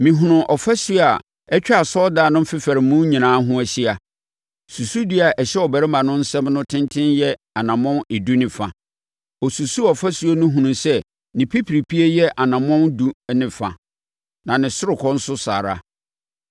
Mehunuu ɔfasuo a atwa asɔredan no mfefaremu nyinaa ho ahyia. Susudua a ɛhyɛ ɔbarima no nsam no tenten yɛ anammɔn edu ne fa. Ɔsusuu ɔfasuo no hunuu sɛ ne pipiripie yɛ anammɔn edu ne fa, na ne ɔsorokɔ nso saa ara.